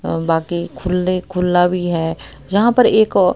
अह बाकी खुले खुला भी है यहां पर एक--